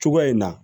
Cogoya in na